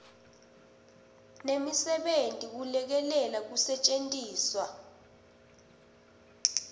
nemisebenti kulekelela kusetjentiswa